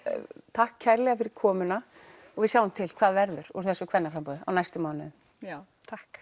takk kærlega fyrir komuna og við sjáum til hvað verður úr þessu kvennaframboði á næstu mánuðum takk